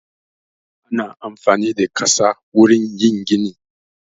Ana amfani da ƙasa wurin yin gini